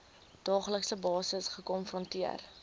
daaglikse basis gekonfronteer